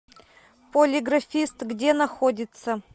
полиграфист где находится